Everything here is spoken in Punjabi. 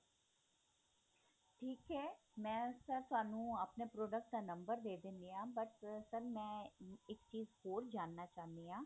ਠੀਕ ਹੈ ਮੈਂ sir ਤੁਹਾਨੂੰ ਆਪਣੇ product ਦਾ number ਦੇ ਦੇਣੀ ਆ but sir ਮੈਂ ਇੱਕ ਚੀਜ਼ ਹੋਰ ਜਾਨਣਾ ਚਾਹੁੰਦੀ ਹਾਂ